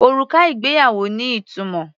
Òrùka ìgbéyàwó ní ìtumọ̀.